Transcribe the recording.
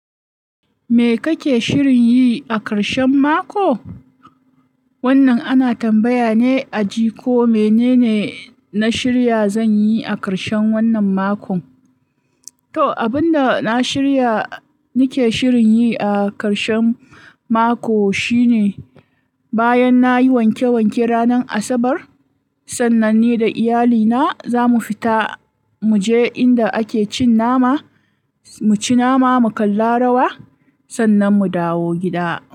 Me kake shirin yi a karshen mako? Wannan ana tambaya ne a ji, ko menene na shirya, zan yi a karshen wannan makon. To, abin da na shirya, nake shirin yi a karshen mako shine, bayan na yi wanke wanke ranar Asabar, sannan ni da iyalina za mu fita, mu je inda ake cin nama, mu ci nama, mu kalla rawa, sannan mu dawo gida.